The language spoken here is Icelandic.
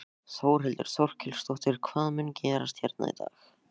Þórhildur Þorkelsdóttir: Hvað mun gerast hérna í dag?